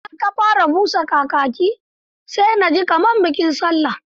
Idan aka fara busa kakaki. sai na ji kamar a bikin sallah.